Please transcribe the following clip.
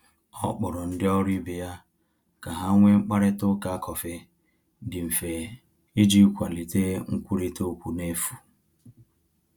Ọ kpọrọ ndị ọrụ ibe ya ka ha nwee mkparịta ụka kọfị dị mfe iji kwalite nkwurịta okwu n’efu.